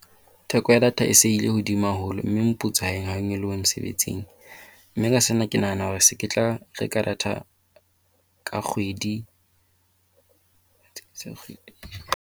Theko ya data e se e ile hodimo haholo mme moputso ha o nyolohe mosebetsing. Mme ka sena ke nahana hore ke se ke tla reka rata data ka kgwedi .